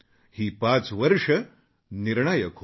ही पाच वर्षं निर्णायक होती